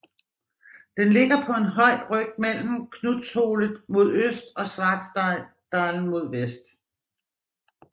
Den ligger på en høj ryg mellem Knutsholet mod øst og Svartdalen mod vest